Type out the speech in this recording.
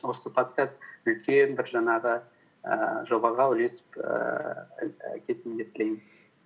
осы подкаст үлкен бір жаңағы ііі жобаға үлесіп ііі кетсін деп тілеймін